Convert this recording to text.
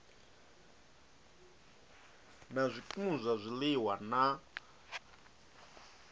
na zwikimu zwa zwiliwa na